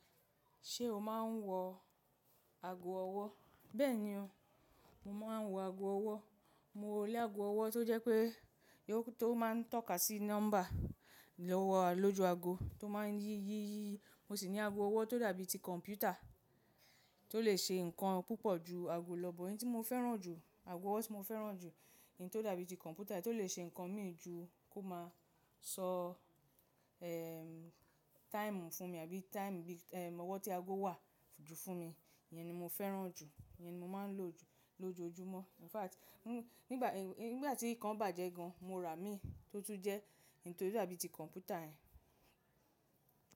Ṣé o máa ń wọ ago ọwọ́? Bẹ́ẹ̀ni o, mo máa ń wọ ago ọwọ́. Mọ ní ago ọwọ́ tó jẹ́ pé tó máa ń tọ́ka sí nọ́mbà lọ́ju ago tó máa ń yí yí yí yí. Mọ sì ní ago ọwọ́ tó dàbí ti kọ̀m̀pútà tó lè ṣe nǹkan púpọ̀ ju ago lọ. Ẹ̀yi tí mo fẹ́ràn jù, ago ọwọ́ tí mo fẹ́ràn jù ni tó dàbí ti kọ̀m̀pútà tí ó lè ṣe nǹkan míì ju kò ma sọ, eh, táìmù fún mi àbí táìmù bí, eh, ọwọ́ tí ago wà jù fún mi. Ìyẹn ni mo fẹ́ràn jù, ìyẹn ni mọ máa ń lò jù lọ́jọ́ ojúmọ́. In fact, nígbà tí nǹkan bàjẹ́ gan, mo rà mi tó tún jẹ́ ẹyi tó dàbí ti kọ̀m̀pútà yẹn.